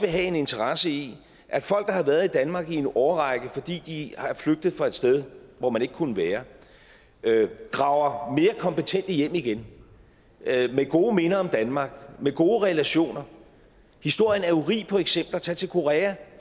have en interesse i at folk der har været i danmark i en årrække fordi de er flygtet fra et sted hvor man ikke kunne være drager mere kompetente hjem igen med gode minder om danmark med gode relationer historien er jo rig på eksempler tag til korea